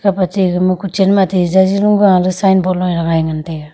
kap ache gama kochen ma athe jaji long go la signboard lung hagai ngan taiga.